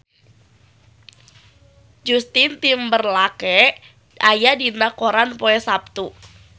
Justin Timberlake aya dina koran poe Saptu